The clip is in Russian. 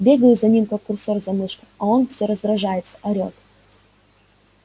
бегаю за ним как курсор за мышкой а он все раздражается орет